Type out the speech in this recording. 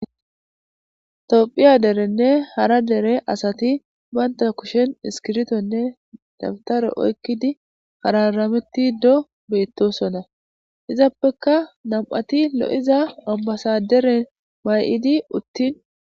Toophiya derenne hara dere asati baynta kushen iskirtonne dabtare oykkidi hararameti do beettosonna izappekka nam'ati lo'iza ambasaderen may'idi uttin.